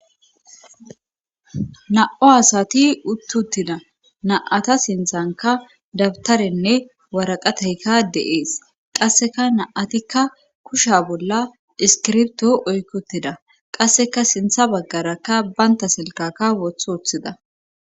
na7o asati uttuttina na7ata sinthanka dabtarenne waraqateyka deees qasseka naatikka kusha bolla iskirbto oykkotida qasseka sintha baggarakka baynta silkaka woth woththida